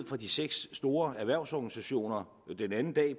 fra de seks store erhvervsorganisationer